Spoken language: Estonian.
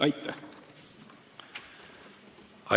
Aitäh!